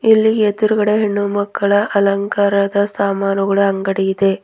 ಇಲ್ಲಿ ಎದ್ರುಗಡೆ ಹೆಣ್ಣುಮಕ್ಕಳ ಅಲಂಕಾರದ ಸಾಮಾನುಗಳ ಅಂಗಡಿ ಇದೆ.